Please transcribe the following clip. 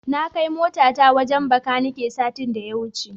Na kai motata wajen Bakanike satin da ya wuce.